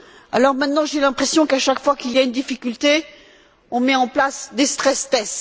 Alors maintenant, j'ai l'impression qu'à chaque fois qu'il y a une difficulté, on met en place des stress tests